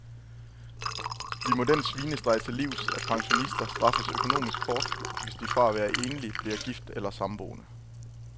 Vi må den svinestreg til livs, at pensionister straffes økonomisk hårdt, hvis de fra at være enlig bliver gift eller samboende.